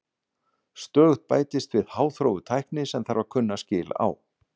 Stöðugt bætist við háþróuð tækni sem þarf að kunna skil á.